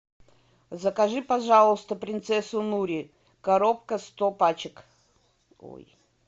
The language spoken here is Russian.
закажи пожалуйста принцессу нури коробка сто пачек ой